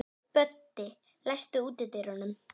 Böddi, læstu útidyrunum.